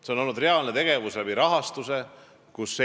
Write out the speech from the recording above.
See on toimunud lisarahastuse abil.